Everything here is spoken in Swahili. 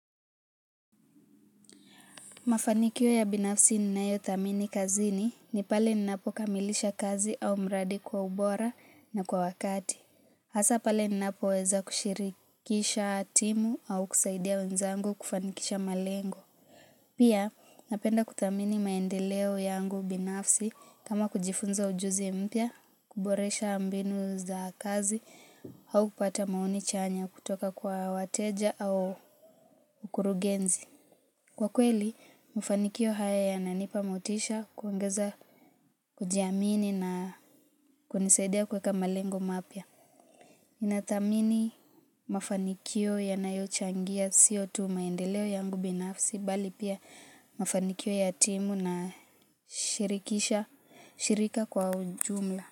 Mafanikio ya binafsi ninayo thamini kazini ni pale ninapo kamilisha kazi au mradi kwa ubora na kwa wakati. Hasa pale ninapoweza kushirikisha timu au kusaidia wenzangu kufanikisha malengo. Pia napenda kuthamini maendeleo yangu binafsi kama kujifunza ujuzi mpya, kuboresha mbinu za kazi au kupata maoni chanya kutoka kwa wateja au mkurugenzi. Kwa kweli, mafanikio haya yananipa motisha, kuongeza, kujiamini na kunisaidia kuweka malengo mapya. Nathamini mafanikio yanayochangia sio tu maendeleo yangu binafsi, bali pia mafanikio ya timu na shirikisha, shirika kwa ujumla.